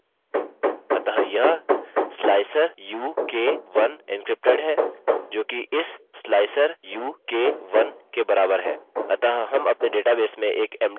अतः अब यह वास्तव में इसके बराबर है अतः यह slicer u k 1 एन्क्रिप्टेड है जोकि इस slicer u k 1 के बराबर है